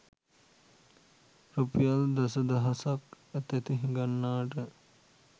රුපියල් දස දහසක් අතැති හිඟන්නාට